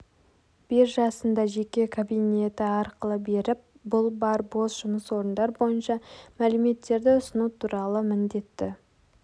биржасында жеке кабинеті арқылы беріп бұл бар бос жұмыс орындар бойынша мәліметтерді ұсыну туралы міндетті